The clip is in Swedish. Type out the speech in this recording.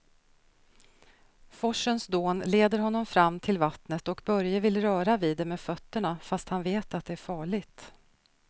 Forsens dån leder honom fram till vattnet och Börje vill röra vid det med fötterna, fast han vet att det är farligt.